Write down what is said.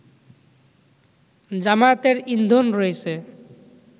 জামায়াতের ইন্ধন রয়েছে